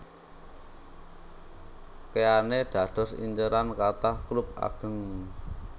Keane dados inceran kathah klub ageng